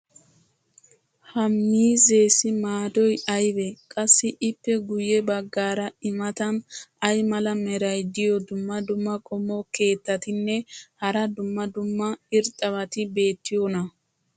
ha miizzeessi maadoy aybee? qassi ippe guye bagaara i matan ay mala meray diyo dumma dumma qommo keettatinne hara dumma dumma irxxabati beetiyoonaa?